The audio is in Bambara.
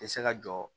Tɛ se ka jɔ